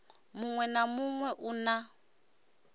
muṅwe na muṅwe u na